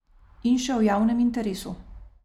In še o javnem interesu.